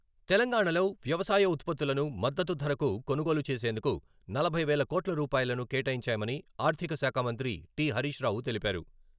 తెలంగాణలో వ్యవసాయ ఉత్పత్తులను మద్దతు ధరకు కొనుగోలు చేసేందుకు నలభై వేల కోట్ల రూపాయలను కేటాయించామని ఆర్థిక శాఖ మంత్రి టి. హరీశ్ రావు తెలిపారు.